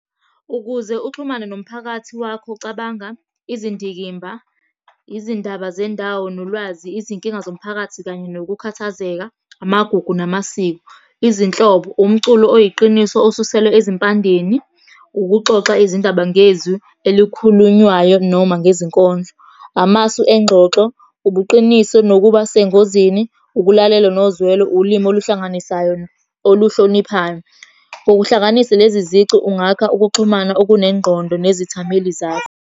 Ukuze uxhumane nomphakathi wakho cabanga izindikimba, izindaba zendawo nolwazi, izinkinga zomphakathi, kanye nokukhathazeka. Amagugu namasiko, izinhlobo, umculo oyiqiniso osuselwe ezimpandeni, ukuxoxa izindaba ngezwi elikhulunywayo noma ngezinkondlo. Amasu engxoxo, ubuqiniso nokuba sengozini, ukulalela nozwelo, ulimi oluhlanganisayo oluhloniphayo. Ngokuhlanganisa lezi zici ungakha ukuxhumana okunengqondo nezithameli zakho.